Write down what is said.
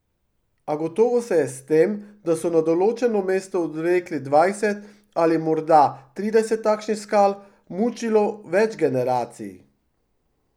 A gotovo se je s tem, da so na določeno mesto odvlekli dvajset ali morda trideset takšnih skal, mučilo več generacij.